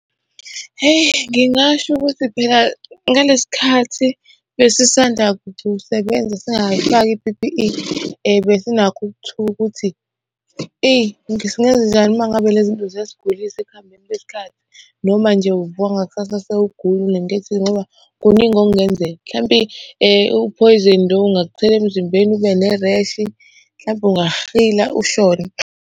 Heyi, ngingasho ukuthi phela ngalesi khathi basisanda kusebenza singakayifaki i-P_P_E. Besinakho ukuthuka ukuthi eyi, singenzanjani uma ngabe lezi zinto ziyasigulisa ekuhambeni kwesikhathi. Noma nje uvuka ngakusasa . Kuningi okungenzeka, mhlampe uphoyizeni lowo ungakuthela emzimbeni, ube ne-rash, mhlampe ungakuhila ushone.